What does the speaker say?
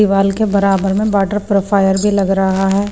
दीवाल के बराबर में वाटर प्रोफायर भी लग रहा है।